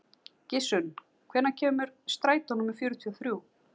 Gissunn, hvenær kemur strætó númer fjörutíu og þrjú?